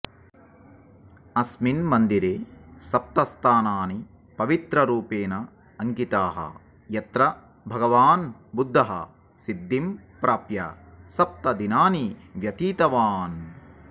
अस्मिन् मन्दिरे सप्तस्थानानि पवित्ररूपेण अङ्किताः यत्र भगवान् बुद्धः सिद्धिं प्राप्य सप्तदिनानि व्यतीतवान्